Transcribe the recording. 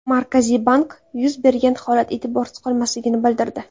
Markaziy bank yuz bergan holat e’tiborsiz qolmasligini bildirdi.